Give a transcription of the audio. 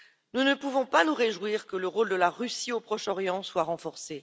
Nous ne pouvons pas nous réjouir que le rôle de la Russie au Proche Orient soit renforcé.